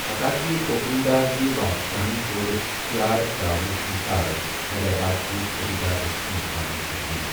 حتا كہِ گوكُنڈا ہكہِ بادشاہن كور ہھیار تر٘اونس اِنكار ، حیدر آباد كہِ سوبیدار رُستُم خانن كو٘ر یی ۔